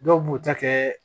Dɔw b'u ta kɛ